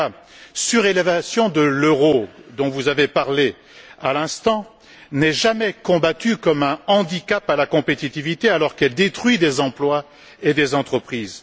Mais la surévaluation de l'euro, dont vous avez parlée à l'instant, n'est jamais combattue comme un handicap à la compétitivité, alors qu'elle détruit des emplois et des entreprises.